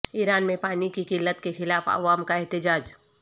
ایران میں پانی کی قلت کے خلاف عوام کا احتجاج